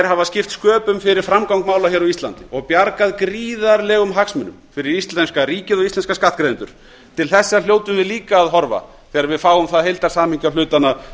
hafa skipt sköpum fyrir framgang mála á íslandi og bjargað gríðarlegum hagsmunum fyrir íslenska ríkið og íslenska skattgreiðendur til þessa hljótum við líka að horfa þegar við fáum það heildarsamhengi á hlutina